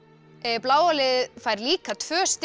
bláa liðið fær líka tvö stig